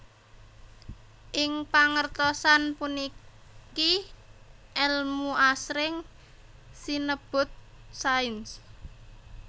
Ing pangertosan puniki èlmu asring sinebut sains